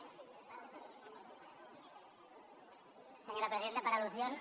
senyora presidenta per al·lusions